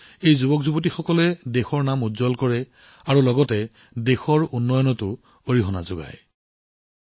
ইয়াৰ পিছত এই যুৱকসকলেও দেশলৈ সন্মান কঢ়িয়াই আনে আৰু লগতে দেশৰ উন্নয়নৰ দিশতো দিক নিৰ্ণয় কৰে